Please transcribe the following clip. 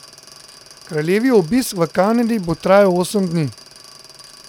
Kraljevi obisk v Kanadi bo trajal osem dni.